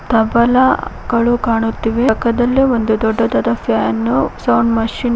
ತಬಲಗಳು ಕಾಣುತ್ತಿವೆ ಪಕ್ಕದಲ್ಲಿ ಒಂದು ದೊಡ್ಡದಾದ ಫ್ಯಾನು ಸೌಂಡ್ ಮಷೀನ್ .